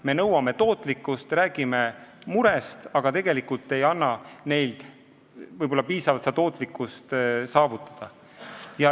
Me nõuame tootlikkust, räägime murest, aga tegelikult ei anna võib-olla piisavalt võimalust tootlikkust saavutada.